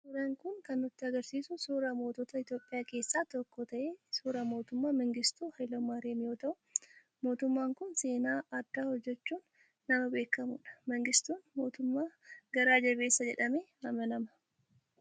Suuraan kun kan nutti agarsiisu suura mootota Itoophiyaa keessaa tokko ta'e suuraa Mootummaa Mangistuu Haayile Maariyaam yoo ta'u, mootummaan kun seenaa addaa hojjechuun nama beekamudha. Mangistuu mootummaa garaa jabeessa jedhamee amanama.